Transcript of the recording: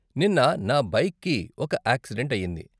నిన్న, నా బైక్కి ఒక యాక్సిడెంట్ అయ్యింది.